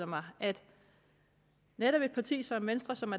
mig at netop et parti som venstre som